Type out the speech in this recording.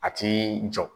A ti jɔ